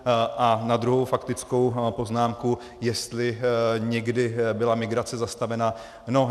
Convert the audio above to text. A na druhou faktickou poznámku, jestli někdy byla migrace zastavena.